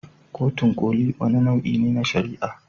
Kotun Koli wani nau'i ne na shari'a.